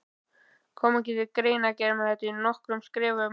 Kom ekki til greina að gera þetta í nokkrum skrefum?